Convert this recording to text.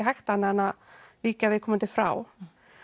hægt annað en að víkja viðkomandi frá